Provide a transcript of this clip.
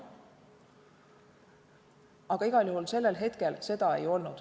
Aga igal juhul sellel hetkel seda ei olnud.